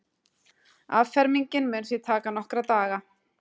Affermingin muni því taka nokkra daga